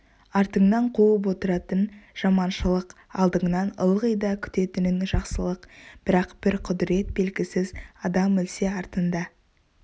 артыңнан қуып отыратын жаманшылық алдыңнан ылғи да күтетінің жақсылық бірақ бір құдірет белгісіз адам өлсе артында